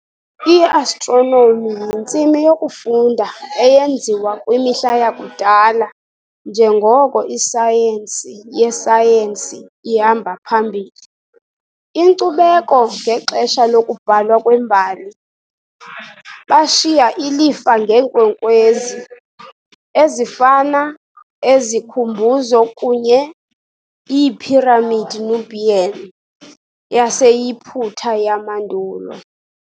I-Astronomy yintsimi yokufunda eyenziwa kwimihla yakudala njengoko isayensi yesayensi ihamba phambili. Inkcubeko ngexesha lokubhalwa kwembali, bashiya ilifa ngeenkwenkwezi, ezifana ezikhumbuzo kunye iiphiramidi Nubian yaseYiputa yamandulo.